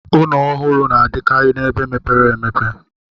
Ụnọ ọhụrụ na-adịkarị na-ebe mepere emepe.